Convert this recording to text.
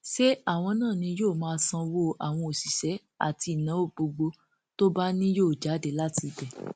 ṣé àwọn náà ni wọn yóò máa sanwó àwọn òṣìṣẹ àti ìnáwó gbogbo tó bá ní yóò jáde láti ibẹ